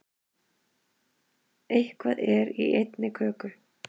Eitthvað er í einni köku